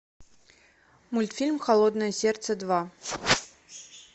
мультфильм холодное сердце два